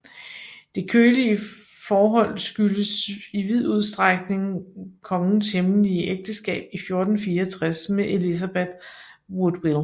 Det kølige forhold skyldtes i vid udstrækning kongens hemmelige ægteskab i 1464 med Elizabeth Woodville